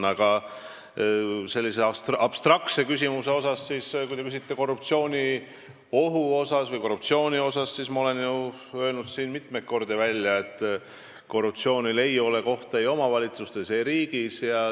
Aga sellisele abstraktsele küsimusele korruptsiooniohu või korruptsiooni kohta vastan, et ma olen siin ju mitu korda välja öelnud, et korruptsioonil ei ole kohta omavalitsustes ega riigis.